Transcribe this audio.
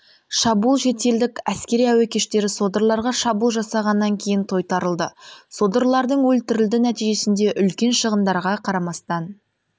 шабуыл шетелдік әскери әуе күштері содырларға шабуыл жасағаннан кейін тойтарылды содырлардың өлтірілді нәтижесінде үлкен шығындарға қарамастан